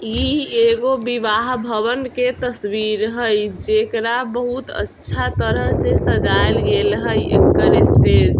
इ एगो विवाह भवन के तस्वीर हेय जेकरा बहुत अच्छा तरह से सजाइल गेल हेय एकर स्टेज।